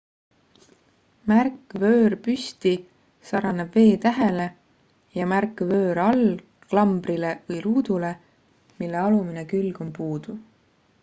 märk vöör püsti sarnaneb v-tähele ja märk vöör all klambrile või ruudule mille alumine külg on puudu